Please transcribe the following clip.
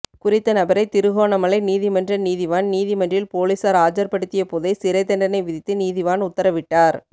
குறித்த நபரை திருகோணமலை நீதிமன்ற நீதிவான் நீதிமன்றில் பொலிஸார் ஆஜர்படுத்திய போதே சிறைதண்டனை விதித்து நீதிவான் உத்தரவிட்டார்